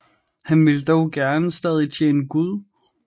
Han ville dog gerne stadig tjene Gud